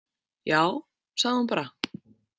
Já, sagði hún bara.